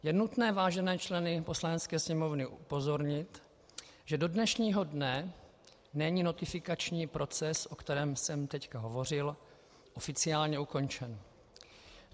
Je nutné vážené členy Poslanecké sněmovny upozornit, že do dnešního dne není notifikační proces, o kterém jsem teď hovořil, oficiálně ukončen.